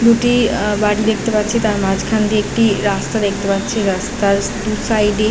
দুটি আ বাড়ি দেখতে পাচ্ছি | তার মাঝখান দিয়ে একটি রাস্তা দেখতে পাচ্ছি। রাস্তার দু সাইড -এ --